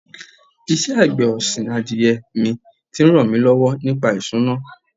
Ìṣe àgbẹ̀ ọ̀sìn adìyẹ mi ti ń ràn mí lọ́wọ́ nípa ìṣúná.